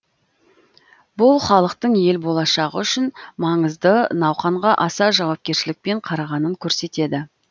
бұл халықтың ел болашағы үшін маңызды науқанға аса жауапкершілікпен қарағанын көрсетеді